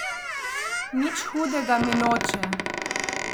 Nič hudega mi noče.